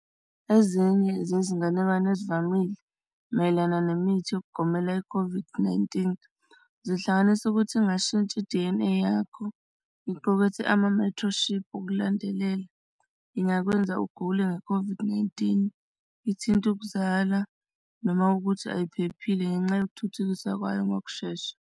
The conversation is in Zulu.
Ezinye zezinganekwane ezivamile mayelana nemithi yokugomela i-COVID-19 zihlanganisa ukuthi kungashintsha i-D_N_A yakho iqukethe amamethroshiphu ukulandelela. Ingakwenza ugule nge-COVID-19 ithinta ukuzala noma ukuthi ayiphephile ngenxa yokuthuthukisa kwayo ngokushesha.